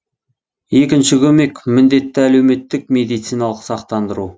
екінші көмек міндетті әлеуметтік медициналық сақтандыру